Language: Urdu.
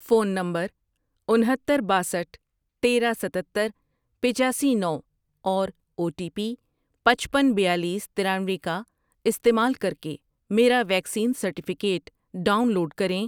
فون نمبر انہتر، باسٹھ ،تیرہ، ستتر، پچاسی، نو اور او ٹی پی پچپن، بیالیس، ترانوے کا استعمال کر کے میرا ویکسین سرٹیفکیٹ ڈاؤن لوڈ کریں۔